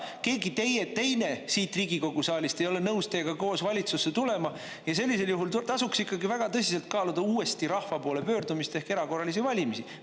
Keegi teine siit Riigikogu saalist ei ole nõus teiega koos valitsusse tulema ja sellisel juhul tasuks ikkagi väga tõsiselt kaaluda uuesti rahva poole pöördumist ehk erakorralisi valimisi.